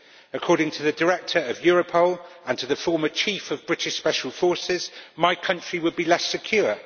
According to the Director of Europol and the former Chief of British Special Forces, my country would be less secure.